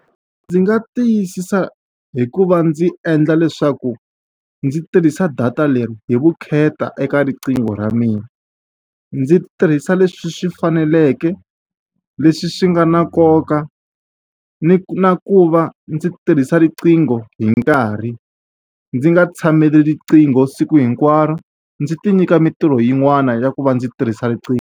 Ndzi nga tiyisisa hi ku va ndzi endla leswaku ndzi tirhisa data leri hi vukheta eka riqingho ra mina. Ndzi tirhisa leswi swi faneleke, leswi swi nga na nkoka, ni na ku va ndzi tirhisa riqingho hi nkarhi. Ndzi nga tshameli riqingho siku hinkwaro, ndzi ti nyika mitirho yin'wana handle ka ku va ndzi tirhisa riqingho.